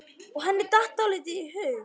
Og henni datt dálítið í hug.